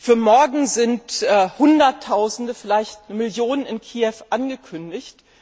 Für morgen sind Hunderttausende, vielleicht Millionen, in Kiew angekündigt.